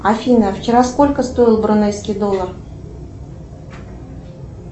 афина вчера сколько стоил брунейский доллар